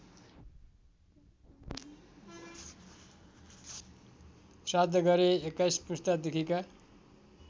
श्राद्ध गरे २१ पुस्तादेखिका